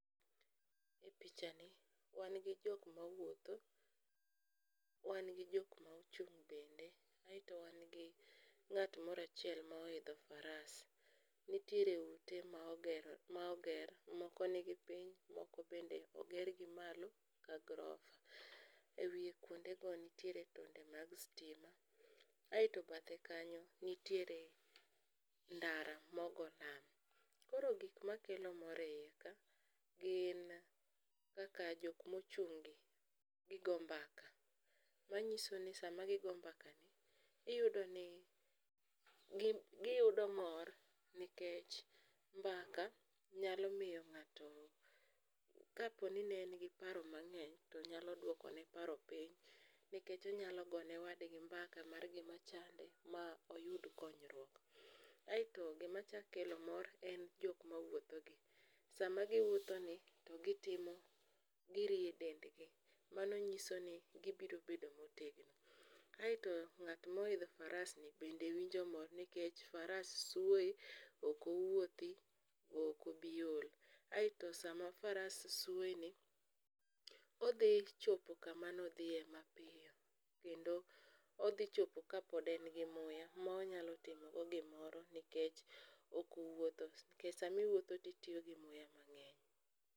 E pichani wan gi jokma wuotho, wan gi jokma ochung' bende aeto wan gi ng'at moro achiel ma oidho faras. Nitiere ute ma oger, moko nigi piny moko bende ogergi malo ka grofa, e wiye kuondego nitiere tonde mag stima aeto bathe kanyo nitiere ndara mogo lam. Koro gikma kelo mor e iye ka gin kaka jokmochung' gi gigo mbaka manyiso ni sama gigo mbakani giyudo mor nikech mbaka nyalo miyo ng'ato kaponi ne en gi paro mang'eny to nyalo duokone paro piny nikech onyalo go ne wadgi mbaka mar gimachande ma oyud konyruok. Aeto gimachak kelo mor en jokmawuothogi. Sama giwuothoni to girie dendgi mano nyiso ni gibiro bedo motegno. Aeto ng'atmoidho farasni bende winjo mor nikech faras swoye okowuothi okobiol. Aeto sama faras swoyeni odhi chopo kamanodhiye mapiyo kendo odhichopo kapod en gi muya ma onyalo timogo gimoro nikech okowuotho nikech samiwuotho titiyo gi muya mang'eny.